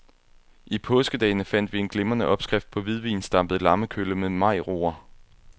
I påskedagene fandt vi en glimrende opskrift på hvidvinsdampet lammekølle med majroer.